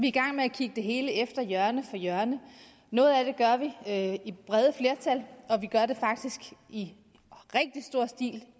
i gang med at kigge det hele efter hjørne for hjørne noget af brede flertal og vi gør det faktisk i rigtig stor stil